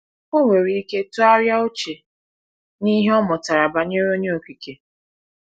Ọ nwere ike tụgharịa uche n’ihe ọ mụtara banyere Onye Okike.